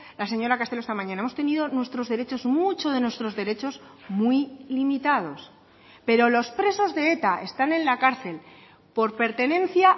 la señora castelo esta mañana hemos tenido nuestros derechos mucho de nuestros derechos muy limitados pero los presos de eta están en la cárcel por pertenencia